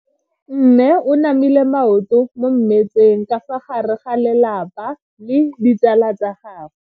Mme o namile maoto mo mmetseng ka fa gare ga lelapa le ditsala tsa gagwe.